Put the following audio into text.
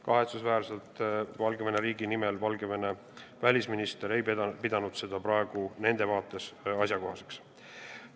Kahetsusväärselt ei pidanud Valgevene välisminister Valgevene riigi nimel seda praegu nende vaates asjakohaseks.